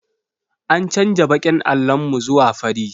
An canja baƙin allon mu zuwa fari